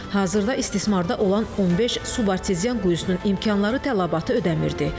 Hazırda istismarda olan 15 subartezian quyusunun imkanları tələbatı ödəmirirdi.